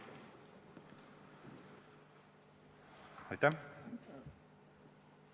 Aitäh!